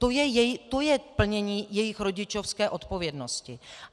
To je plnění jejich rodičovské odpovědnosti.